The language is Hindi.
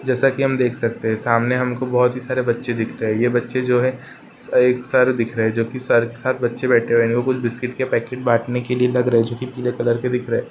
जैसा कि हम देख सकते हैं सामने हमको बोहोत ही सारे बच्चे दिख रहे हैं। ये बच्चे जो हैं स् एक सर दिख रहे है जो कि सर के साथ बच्चे बैठे हुए हैं। इनको कुछ बिस्किट के पैकेट बाँटने के लिए लग रहे जो कि पीले कलर के दिख रहे।